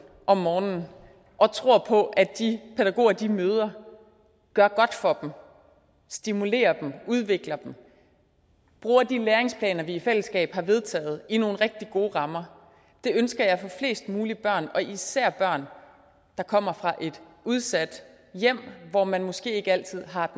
om morgenen og tror på at de pædagoger de møder gør godt for dem stimulerer dem udvikler dem bruger de læringsplaner vi i fællesskab har vedtaget i nogle rigtig gode rammer det ønsker jeg for flest mulige børn og især børn der kommer fra udsatte hjem hvor man måske ikke altid har